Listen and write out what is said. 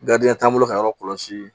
t'an bolo ka yɔrɔ kɔlɔsi